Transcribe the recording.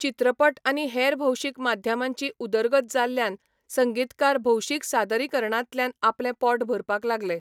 चित्रपट आनी हेर भौशीक माध्यमांची उदरगत जाल्ल्यान संगीतकार भौशीक सादरीकरणांतल्यान आपलें पोट भरपाक लागले.